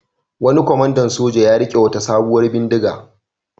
Wani kwamandan soja ya riƙe wata sabuwar bindiga.